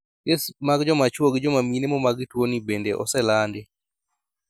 Kes mag jomachuo gi jomamine momak gi tuo ni bende oselandi